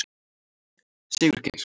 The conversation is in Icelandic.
Sigurgeir